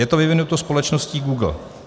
Je to vyvinuto společností Google.